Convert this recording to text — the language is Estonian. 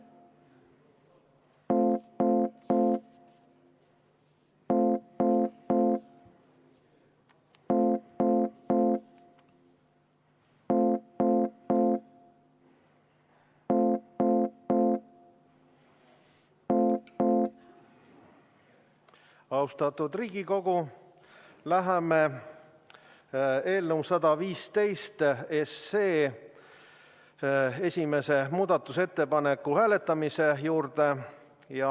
Austatud Riigikogu, läheme eelnõu 115 esimese muudatusettepaneku hääletamise juurde.